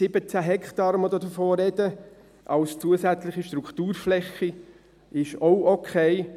17 Hektaren als zusätzliche Strukturfläche, von welchen wir sprechen, sind auch okay.